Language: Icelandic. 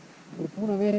búnir að vera í